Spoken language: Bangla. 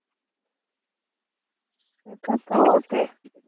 সেটা তো বটে।